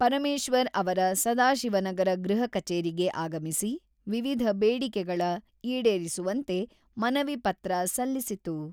ಪರಮೇಶ್ವರ್ ಅವರ ಸದಾಶಿವನಗರ ಗೃಹ ಕಚೇರಿಗೆ ಆಗಮಿಸಿ, ವಿವಿಧ ಬೇಡಿಕೆಗಳ ಈಡೇರಿಸುವಂತೆ ಮನವಿ ಪತ್ರ ಸಲ್ಲಿಸಿತು.